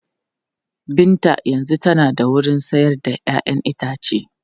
Binta yanzu tana da wurin sayar da 'ya'yan itace.